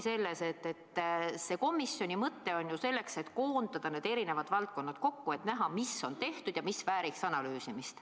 Komisjoni mõte ongi ju selles, et koondada need erinevad valdkonnad kokku, et näha, mis on tehtud ja mis vääriks analüüsimist.